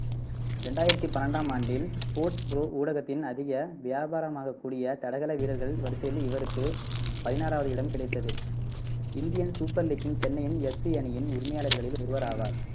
ரெண்டாயிரத்தி பன்னெண்டாம் ஆண்டில் sports pro ஊடகத்தின் அதிக வியாபாரமாகக்கூடிய தடகள வீரர்கள் வரிசையில் இவருக்கு பதினாறாவது இடம் கிடைத்தது இந்தியன் சூப்பர் லீக்கின் சென்னையின் எப் சி அணியின் உரிமையாளர்களில் ஒருவர் ஆவார்.